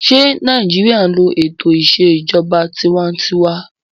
Ṣé Nàìjíríyà n lo ètò ìṣèjọba tinwatinwa?